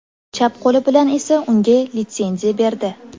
Chap qo‘li bilan esa unga litsenziya berdi.